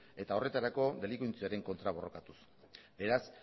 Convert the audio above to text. eta horretarako delinkuentziaren kontra borrokatuz beraz